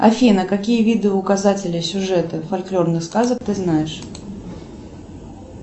афина какие виды указателя сюжета фольклорных сказок ты знаешь